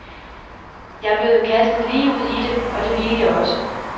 Jeg blev jo kastet lige ud i det, og det ville jeg også.